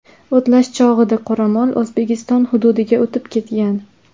O‘tlash chog‘ida qoramol O‘zbekiston hududiga o‘tib ketgan.